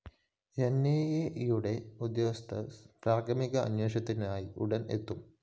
എന്‍ഐഎയുടെ ഉദ്യോഗസ്ഥര്‍ പ്രാഥമിക അന്വേഷണത്തിനായി ഉടന്‍ എത്തും